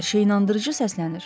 Hər şey inandırıcı səslənir.